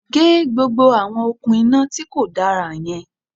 Gé gbogbo àwọn òkun iná tíkò dára yan